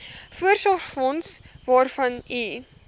voorsorgsfonds waarvan u